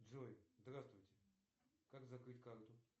джой здравствуйте как закрыть карту